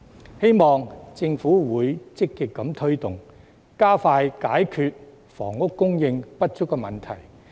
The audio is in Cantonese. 我希望政府會積極推動，加快解決房屋供應不足的問題。